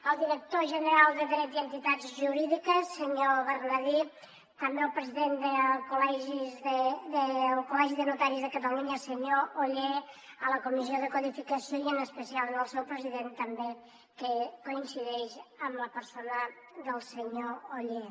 el director general de dret i entitats jurídiques senyor bernadí també el president del col·legi de notaris de catalunya senyor ollé a la comissió de codificació i en especial al seu president també que coincideix en la persona del senyor ollé